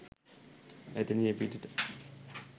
එතැනින් එපිටට